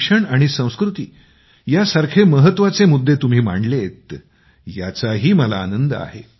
शिक्षण आणि संस्कृती यासारखे महत्त्वाचे मुद्दे तुम्ही मांडलेत याचाही मला आनंद आहे